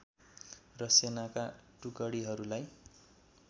र सेनाका टुकडीहरूलाई